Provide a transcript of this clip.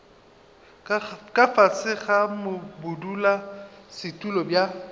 ka fase ga bodulasetulo bja